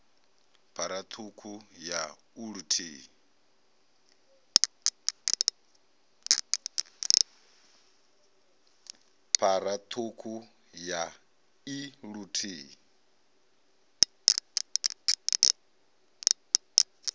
phara ṱhukhu ya i luthihi